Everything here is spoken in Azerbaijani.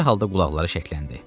Dərhal da qulaqları şəkləndi.